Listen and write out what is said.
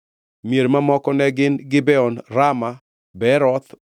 Mier mamoko ne gin: Gibeon, Rama, Beeroth,